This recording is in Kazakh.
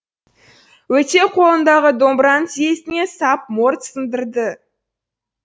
өтеу қолындағы домбыраны тізесіне сап морт сындырды